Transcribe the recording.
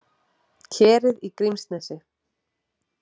Kerið í Grímsnesi.